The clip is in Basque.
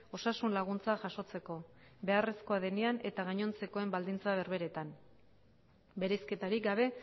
osasun laguntza jasotzeko beharrezkoa denean eta gainontzekoen baldintza berberean bereizketarik gabe